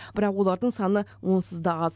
бірақ олардың саны онсыз да аз